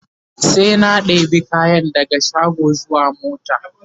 suna ɗebi kayan daga shago zuwa mota